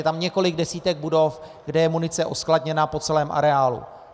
Je tam několik desítek budov, kde je munice uskladněna po celém areálu.